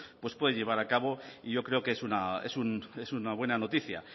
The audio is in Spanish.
pues puede llevar a cabo y yo creo que es una buena noticia